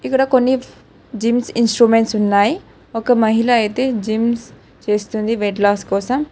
ఇక్కడ కొన్ని gym instruments ఉన్నాయి ఒక మహిళ అయితే జీన్స్ చేస్తూ ఉంది వెయిట్ లాస్ కోసం.